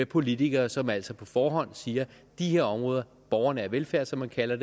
politikere som altså på forhånd siger at de her områder borgernær velfærd som man kalder